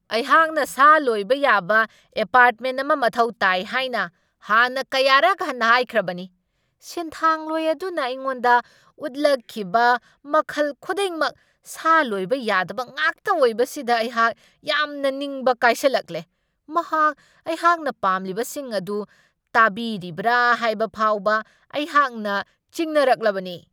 ꯑꯩꯍꯥꯛꯅ ꯁꯥ ꯂꯣꯏꯕ ꯌꯥꯕ ꯑꯦꯄꯥꯔ꯭ꯠꯃꯦꯟ ꯑꯃ ꯃꯊꯧ ꯇꯥꯏ ꯍꯥꯏꯅ ꯍꯥꯟꯅ ꯀꯌꯥꯔꯛ ꯍꯟꯅ ꯍꯥꯏꯈ꯭ꯔꯕꯅꯤ ꯫ ꯁꯤꯟꯊꯥꯡꯂꯣꯏ ꯑꯗꯨꯅ ꯑꯩꯉꯣꯟꯗ ꯎꯠꯂꯛꯈꯤꯕ ꯃꯈꯜ ꯈꯨꯗꯤꯡꯃꯛ ꯁꯥ ꯂꯣꯏꯕ ꯌꯥꯗꯕ ꯉꯥꯛꯇ ꯑꯣꯏꯕꯁꯤꯗ ꯑꯩꯍꯥꯛ ꯌꯥꯝꯅ ꯅꯤꯡꯕ ꯀꯥꯏꯁꯜꯂꯛꯂꯦ ꯫ ꯃꯍꯥꯛ ꯑꯩꯍꯥꯛꯅ ꯄꯥꯝꯂꯤꯕꯁꯤꯡ ꯑꯗꯨ ꯇꯥꯕꯤꯔꯤꯕ꯭ꯔꯥ ꯍꯥꯏꯕ ꯐꯥꯎꯕ ꯑꯩꯍꯥꯛꯅ ꯆꯤꯡꯅꯔꯛꯂꯕꯅꯤ꯫